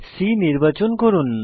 C নির্বাচন করুন